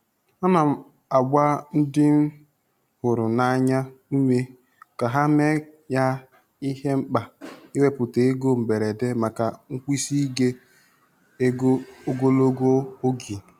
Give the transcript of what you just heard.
A na-agba ndị m hụrụ n'anya ume ka ha mee ya ihe mkpa iwepụta ego mberede maka nkwụsike ego ogologo oge.